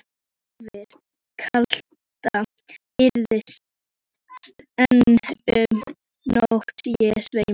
Yfir kaldan eyðisand einn um nótt ég sveima.